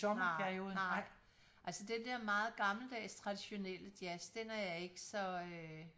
Nej nej altså det der meget gammeldags traditionelle jazz den er jeg ikke så øh